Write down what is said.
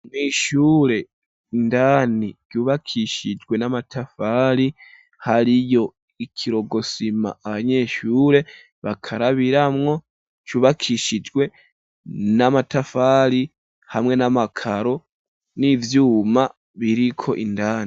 Mwishure indani yubakishijwe n'amatafari hariyo ikirokosima abanyeshure bakarabira mwo cyubakishijwe n'amatafari hamwe n'amakaro n'ivyuma biriko indani.